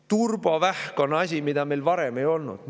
Turbovähk on asi, mida meil varem ei olnud.